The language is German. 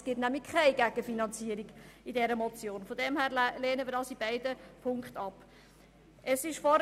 Denn diese Motion sieht keine wirkliche Gegenfinanzierung vor.